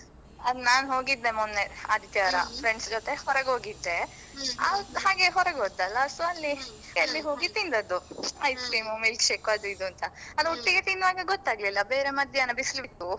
ಹಾ ನಾನ್ ಹೋಗಿದ್ದೆ ಮೊನ್ನೆ ಆದಿತ್ಯವಾರ friends ಜೊತೆ ಹೊರಗೋಗಿದ್ದೆ ಹಾಗೆ ಹೊರಗೆ ಹೋದದ್ದಲ್ಲ so ಅಲ್ಲಿ hotel ಗೆ ಹೋಗಿ ತಿಂದದ್ದು ice cream milkshake ಅದು ಇದು ಅಂತ . ಅದು ಒಟ್ಟಿಗೆ ತಿನ್ನುವಾಗ ಗೊತ್ತಾಗ್ಲಿಲ್ಲ, ಬೇರೆ ಮಧ್ಯಾಹ್ನ ಬೇರೆ ಬಿಸಿಲಿತ್ತು.